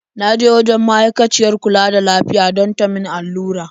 Na je wajen ma'aikaciyar kula da lafiya don ta min allura.